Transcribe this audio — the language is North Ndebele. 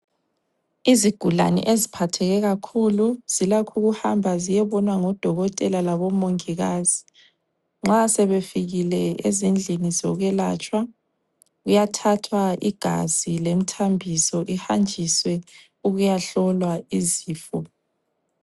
Izigulane eziphatheke kakhulu zilakho ukuhamba ziyebonwa ngodokotela labomongikazi. Nxa sebefikile ezindlini zokwelatshwa kuyathathwa igazi lemithambiso ihanjiswe ukuyahlolwa izifo.